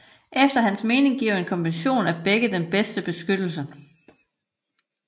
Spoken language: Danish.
Efter hans mening giver en kombination af begge den bedste beskyttelse